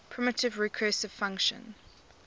primitive recursive function